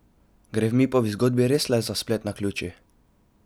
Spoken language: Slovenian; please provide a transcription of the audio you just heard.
Gre v Mipovi zgodbi res le za splet naključij?